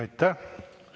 Aitäh!